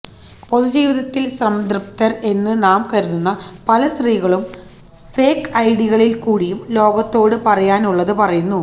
പൊതു ജീവിതത്തില് സംതൃപ്തര് എന്ന് നാം കരുതുന്ന പല സ്ത്രീകളും ഫേക് ഐഡികളില് കൂടിയും ലോകത്തോട് പറയാനുള്ളത് പറയുന്നു